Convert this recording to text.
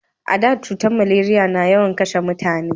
A da cutar maleriya na yawan kashe mutane